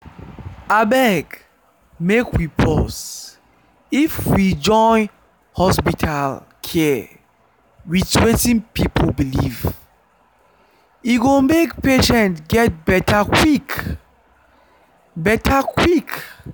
abeg make we pause if we join hospital care with wetin people believe e go make patients get better quick. better quick.